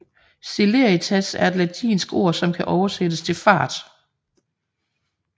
Celeritas er et latinsk ord som kan oversættes til fart